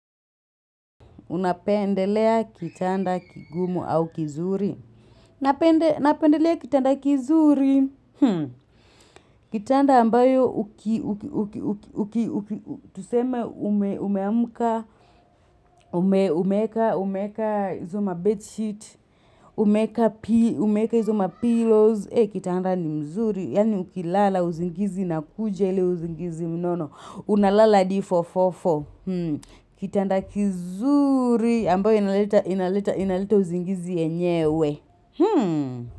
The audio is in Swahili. Unapendelea kitanda kigumu au kizuri napendelea kitanda kizuri kitanda ambayo tuseme umeamka umeeka hizo mabedsheet umeeka hizo mapillows kitanda ni mzuri yaani ukilala usingizi na inakuja ili usingizi mnono unalala hadi fofofo kitanda kizuri ambayo inaleta usingizi yenyewe.